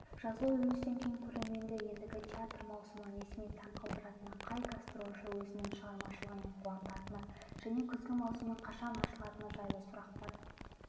жазғы үзілістен кейін көрерменді ендігі театр маусымы несімен таңқалдыратыны қай гастрольші өзінің шығармашылығымен қуантатыны және күзгі маусымның қашан ашылатыны жайлы сұрақтар